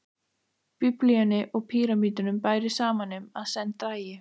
Biblíunni og pýramídanum bæri saman um, að senn drægi